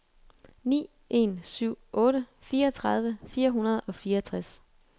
ni en syv otte fireogtredive fire hundrede og fireogtres